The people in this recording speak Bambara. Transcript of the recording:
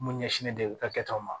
Mun ɲɛsinnen do u ka kɛtaw ma